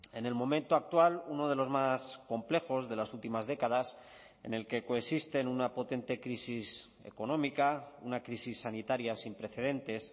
en el momento actual uno de los más complejos de las últimas décadas en el que coexisten una potente crisis económica una crisis sanitaria sin precedentes